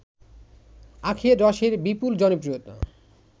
আখের রসের বিপুল জনপ্রিয়তা